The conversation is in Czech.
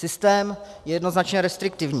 Systém je jednoznačně restriktivní.